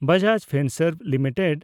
Bajaj Finserv limited